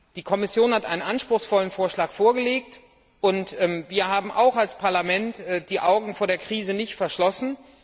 Die Kommission hat einen anspruchsvollen Vorschlag vorgelegt, und wir haben auch als Parlament die Augen vor der Krise nicht verschlossen.